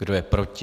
Kdo je proti?